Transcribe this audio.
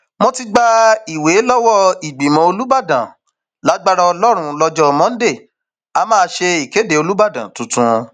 mo ti gba ìwé lọwọ ìgbìmọ olùbàdàn lágbára ọlọrun lọjọ monde a máa ṣe ìkéde olùbàdàn tuntun